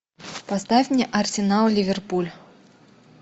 поставь мне арсенал ливерпуль